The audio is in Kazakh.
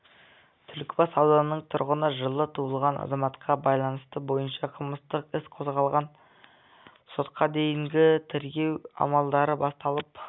түлкібас ауданының тұрғыны жылы туылған азаматқа байланысты бойынша қылмыстық іс қозғалды сотқа дейінгі тергеу амалдары басталып